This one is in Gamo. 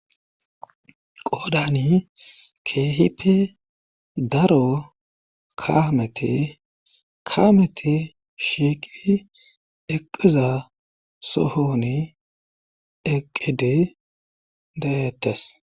qodani keehippe daro kamete kaamete shiiqi eqiza sohoni eqqide dayetes